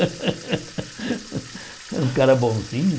É um cara bonzinho.